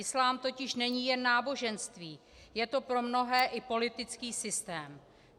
Islám totiž není jen náboženství, je to pro mnohé i politický systém.